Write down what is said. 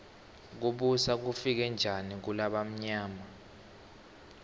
kubusa kufike njani kulabamyama